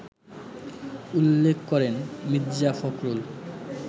উল্লেখ করেন মীর্জা ফখরুল